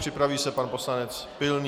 Připraví se pan poslanec Pilný.